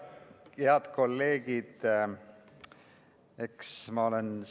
Head kolleegid!